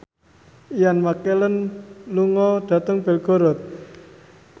Ian McKellen lunga dhateng Belgorod